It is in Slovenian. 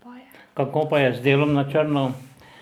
Kako pa je z delom na črno?